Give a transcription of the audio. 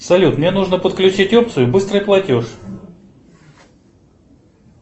салют мне нужно подключить опцию быстрый платеж